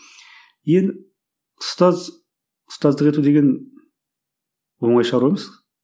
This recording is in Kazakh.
енді ұстаз ұстаздық ету деген оңай шаруа емес